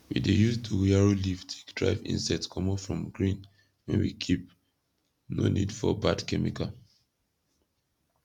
we dey use dogoyaro leave take drive insect comot from grain wen we keep no need for bad chemical